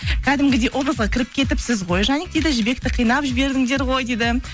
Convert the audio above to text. кәдімгідей образға кіріп кетіпсіз ғой жаник дейді жібек қинап жібердіңдер ғой дейді